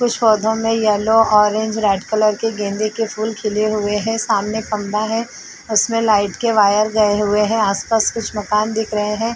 कुछ पौधों में येलो ऑरेंज रेड कलर के गेंदे के फूल खिले हुए हैं सामने खंभा है उसमे लाइट के वायर गए हुए हैं। आस-पास कुछ मकान दिख रहे हैं।